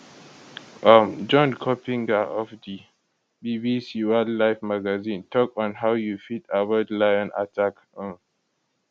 um john coppinger of di of di bbc wildlife magazine tok on how you fit avoid lion attack um